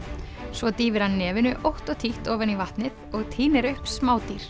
svo dýfir hann nefinu ótt og títt ofan í vatnið og tínir upp